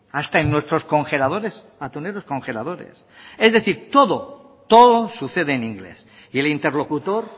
hasta en nuestros congeladores atuneros congeladores es decir todo todo sucede en inglés y el interlocutor